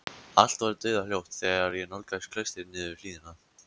Allt var dauðahljótt þegar ég nálgaðist klaustrið niður hlíðina.